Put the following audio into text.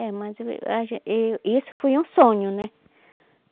É, mas a e isso foi um sonho, né?